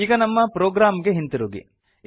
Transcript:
ಈಗ ನಮ್ಮ ಪ್ರೊಗ್ರಾಮ್ ಗೆ ಹಿಂತಿರುಗಿ